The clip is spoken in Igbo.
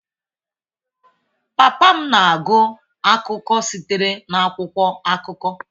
Papa m na-agụ akụkọ sitere n'akwụkwọ akụkọ.